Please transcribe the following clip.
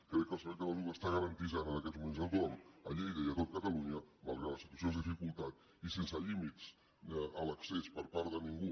crec que el servei català de la salut garanteix en aquests moments a tothom a lleida i a tot catalunya malgrat que la situació és de dificultat i sense límits a l’accés per part de ningú